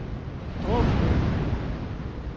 Dråbydalen